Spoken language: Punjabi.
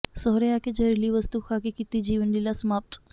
ਸਹੁਰੇ ਆ ਕੇ ਜ਼ਹਿਰੀਲੀ ਵਸਤੂ ਖਾ ਕੇ ਕੀਤੀ ਜੀਵਨ ਲੀਲਾ ਸਮਾਪਤ